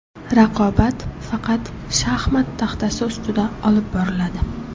Raqobat faqat shaxmat taxtasi ustida olib boriladi.